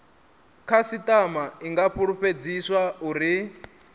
khasitama i nga fulufhedziswa uri